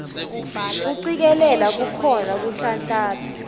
kucikelela kukhona kuhlanhlatsa